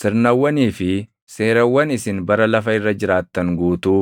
Sirnawwanii fi seerawwan isin bara lafa irra jiraattan guutuu